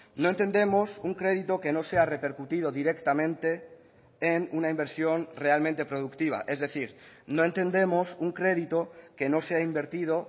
no entendemos un crédito que no sea repercutido directamente en una inversión realmente productiva es decir no entendemos un crédito que no sea invertido